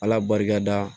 Ala barika da